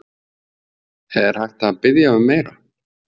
Er hægt að biðja um meira?